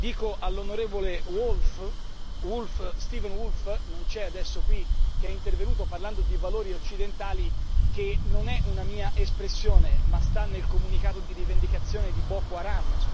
Dico all'onorevole Steven Woolfe, che non è presente e che è intervenuto parlando di valori occidentali, che non è una mia espressione ma sta nel comunicato di rivendicazione di Boko Haram.